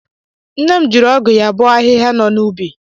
Nne m jiri ọgụ ya bọọ ahịhịa nọ n'ubi.